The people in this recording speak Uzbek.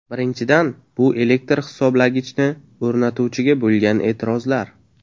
Birinchidan, bu elektr hisoblagichni o‘rnatuvchiga bo‘lgan e’tirozlar.